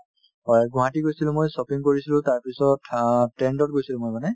হয়, গুৱাহাটী গৈছিলো মই shopping কৰিছিলো তাৰপিছত অ trend ত গৈছিলো মই মানে